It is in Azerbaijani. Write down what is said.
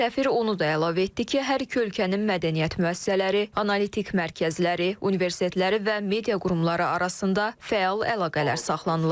Səfir onu da əlavə etdi ki, hər iki ölkənin mədəniyyət müəssisələri, analitik mərkəzləri, universitetləri və media qurumları arasında fəal əlaqələr saxlanılır.